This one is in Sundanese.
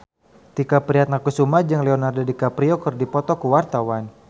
Tike Priatnakusuma jeung Leonardo DiCaprio keur dipoto ku wartawan